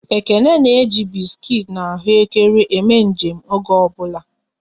Ekene na eji biskuit na ahụekere eme nje m oge ọ bụla